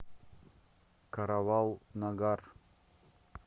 каравал нагар